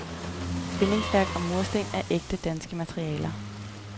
Bindingsværk og mursten er ægte danske materialer.